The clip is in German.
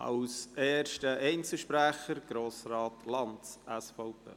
Als erster Einzelsprecher Grossrat Lanz, SVP.